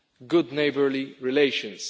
good neighbourly relations.